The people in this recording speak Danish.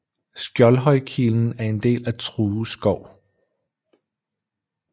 Skjoldhøjkilen er en del af True Skov